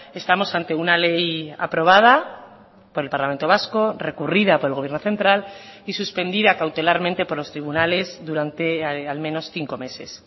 estamos ante una ley aprobada por el parlamento vasco recurrida por el gobierno central y suspendida cautelarmente por los tribunales durante al menos cinco meses